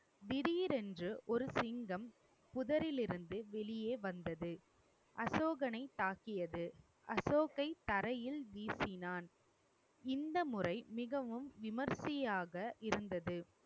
திடீரென்று ஒரு சிங்கம் புதரில் இருந்து வெளியே வந்தது. அசோகனை தாக்கியது. அசோக்கை தரையில் வீசினான். இந்த முறை மிகவும் விமரிசையாக இருந்தது